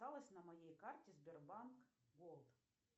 осталось на моей карте сбербанк голд